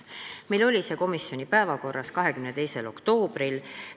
Meil oli see komisjoni päevakorras 22. oktoobril.